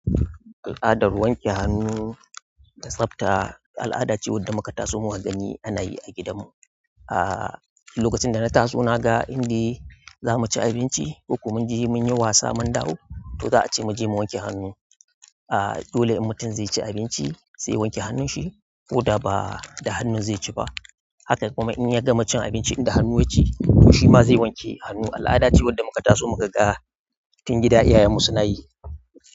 Al'adar wanke hannu da tsafta al'ada ce wadda muka taso muka gani ana yi a gidan mu. Ah lokacin da na taso naga indai za muci abinci, koko mun je mun yi wasa mun dawo to za a ce muje mu wanke hannu. Ah dole in mutum zai ci abinci sai ya wanke hannun shi ko da ba da hannu zai ci ba. Hakan kuma in ya gama cin abinci in da hannu ya ci to shima zai wanke hannu. Al'ada ce wadda muka taso muka ga a cikin gida iyayen mu suna yi.